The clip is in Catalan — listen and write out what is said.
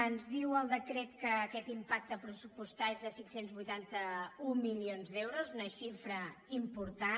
ens diu el decret que aquest impacte pressupostari és de cinc cents i vuitanta un milions d’euros una xifra important